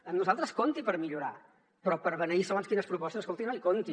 amb nosaltres compti hi per millorar però per beneir segons quines propostes escolti no hi compti